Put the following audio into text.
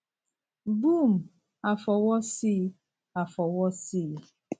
boom a fọwọ sí a fọwọ sí i